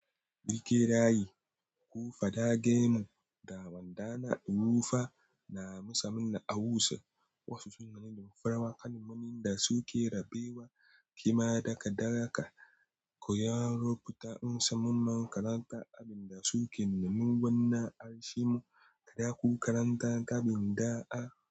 Birke raye, ku faɗa gemun dawandana. Rufa na musamman na Hausa, wasu sunane damfara, wakanimanin da suke rabewa. Kima daga daraka, ku yaron fita in samun man karanta abin da suke numin gwanna. Arshimu kaɗa ku karanta gabin da'a.